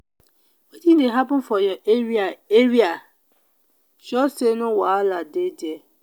wetin dey happen for your area area sure sey no wahala dey there.